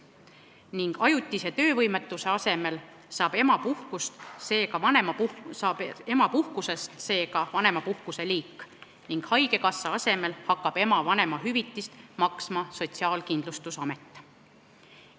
Emapuhkust ei käsitata ajutise töövõimetusena, selle asemel saab emapuhkusest vanemapuhkuse liik ning haigekassa asemel hakkab ema vanemahüvitist maksma Sotsiaalkindlustusamet.